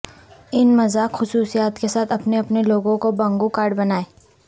ان مذاق خصوصیات کے ساتھ اپنے اپنے لوگوں کو بنگو کارڈ بنائیں